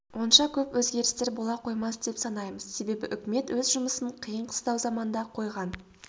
онша көп өзгерістер бола қоймас деп санаймыз себебі үкімет өз жұмысын қиын-қыстау заманда қойған